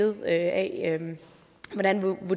om at